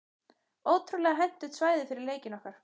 Ótrúlega hentugt svæði fyrir leikinn okkar.